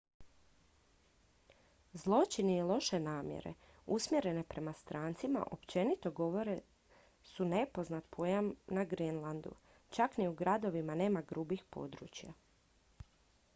"zločini i loše namjere usmjerene prema strancima općenito gotovo su nepoznat pojam na grenlandu. čak ni u gradovima nema "grubih područja"".